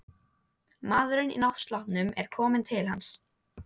Maðurinn í náttsloppnum er kominn til hans.